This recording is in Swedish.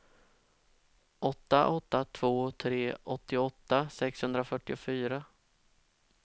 åtta åtta två tre åttioåtta sexhundrafyrtiofyra